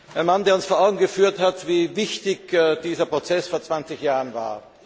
Ein Mann, der uns vor Augen geführt hat, wie wichtig dieser Prozess vor zwanzig Jahren war.